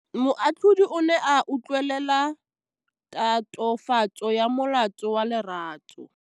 Moatlhodi o ne a utlwelela tatofatsô ya molato wa Lerato.